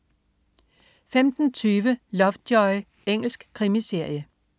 15.20 Lovejoy. Engelsk krimiserie